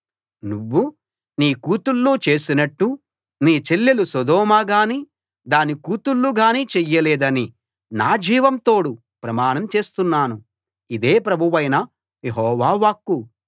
నువ్వూ నీ కూతుళ్ళూ చేసినట్టు నీ చెల్లెలు సొదొమ గాని దాని కూతుళ్ళు గాని చెయ్యలేదని నా జీవం తోడు ప్రమాణం చేస్తున్నాను ఇదే ప్రభువైన యెహోవా వాక్కు